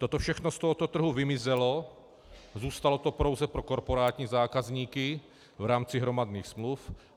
Toto všechno z tohoto trhu vymizelo, zůstalo to pouze pro korporátní zákazníky v rámci hromadných smluv.